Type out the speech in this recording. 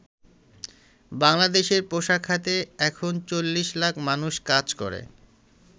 বাংলাদেশের পোশাক খাতে এখন ৪০ লাখ মানুষ কাজ করে।